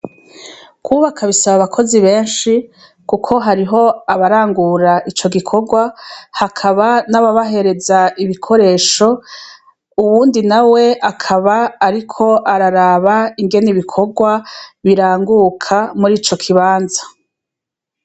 Kwubaka bisaba abakozi benshi kuko hariho abarangura ico gikogwa hakaba hari n' ababahereza ibikoresho uwundi nawe akaba ariko araraba ingene ibikogwa biranguka muri ico kibanza.